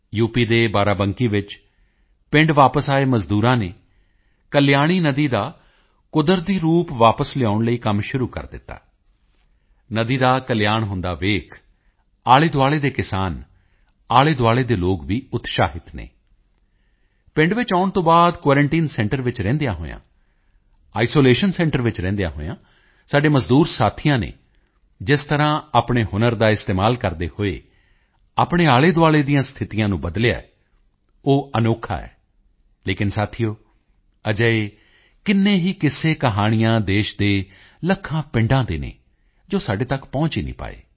ਦੇ ਬਾਰਾਬੰਕੀ ਵਿੱਚ ਪਿੰਡ ਵਾਪਸ ਆਏ ਮਜ਼ਦੂਰਾਂ ਨੇ ਕਲਿਆਣੀ ਨਦੀ ਦਾ ਕੁਦਰਤੀ ਰੂਪ ਵਾਪਸ ਲਿਆਉਣ ਲਈ ਕੰਮ ਸ਼ੁਰੂ ਕਰ ਦਿੱਤਾ ਨਦੀ ਦਾ ਕਲਿਆਣ ਹੁੰਦਾ ਦੇਖ ਆਲ਼ੇਦੁਆਲ਼ੇ ਦੇ ਕਿਸਾਨ ਆਲ਼ੇਦੁਆਲ਼ੇ ਦੇ ਲੋਕ ਵੀ ਉਤਸ਼ਾਹਿਤ ਹਨ ਪਿੰਡ ਵਿੱਚ ਆਉਣ ਤੋਂ ਬਾਅਦ ਕੁਆਰੰਟਾਈਨ ਸੈਂਟਰ ਵਿੱਚ ਰਹਿੰਦਿਆਂ ਹੋਇਆਂ ਆਈਸੋਲੇਸ਼ਨ ਸੈਂਟਰ ਵਿੱਚ ਰਹਿੰਦਿਆਂ ਹੋਇਆਂ ਸਾਡੇ ਮਜ਼ਦੂਰ ਸਾਥੀਆਂ ਨੇ ਜਿਸ ਤਰ੍ਹਾਂ ਆਪਣੇ ਹੁਨਰ ਦਾ ਇਸਤੇਮਾਲ ਕਰਦੇ ਹੋਏ ਆਪਣੇ ਆਲੇਦੁਆਲੇ ਦੀਆਂ ਸਥਿਤੀਆਂ ਨੂੰ ਬਦਲਿਆ ਹੈ ਉਹ ਅਨੋਖਾ ਹੈ ਲੇਕਿਨ ਸਾਥੀਓ ਅਜਿਹੇ ਕਿੰਨੇ ਹੀ ਕਿੱਸੇਕਹਾਣੀਆਂ ਦੇਸ਼ ਦੇ ਲੱਖਾਂ ਪਿੰਡਾਂ ਦੇ ਹਨ ਜੋ ਸਾਡੇ ਤੱਕ ਨਹੀਂ ਪਹੁੰਚ ਪਾਏ ਹਨ